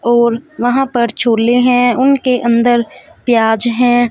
और वहां पर झोले हैं उनके अंदर प्याज है।